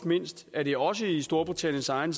mindst er det også i storbritanniens egen